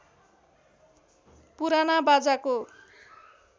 पुराना बाजाको